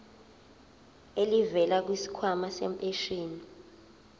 elivela kwisikhwama sempesheni